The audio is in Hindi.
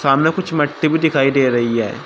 हमें कुछ मट्टी भी दिखाई दे रही है।